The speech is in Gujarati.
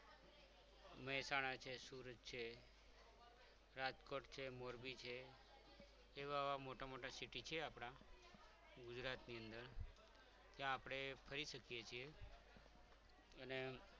મહેસાણા છે સુરત છે રાજકોટ છે મોરબી છે જેવા મોટા મોટા city છે આપણા ગુજરાતની અંદર જે આપણે ફરી શકીએ છીએ અને